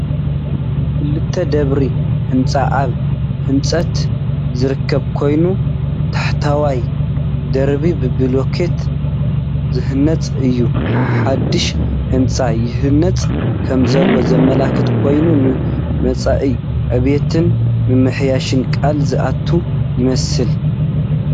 ክልተ ደብሪ ህንጻ ኣብ ህንጸት ዝርከብ ኮይኑ፡ ታሕተዋይ ደርቢ ብብሎኮታት ዝህነጽ እዩ። ሓድሽ ህንጻ ይህነጽ ከምዘሎ ዘመልክት ኮይኑ፡ ንመጻኢ ዕብየትን ምምሕያሽን ቃል ዝኣቱ ይመስል፡፡